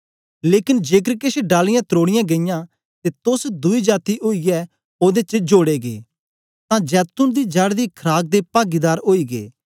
लेकन जेकर केछ डालियाँ त्रोडियां गेईयां ते तोस दुई जाती ओईयै ओदे च जोड़े गै तां जैतून दी जड़ दी खराक दे पागीदार ओई गै